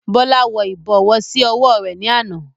Bọlá wọ ibọ̀wọ̀ sì ọwọ rẹ ni àná.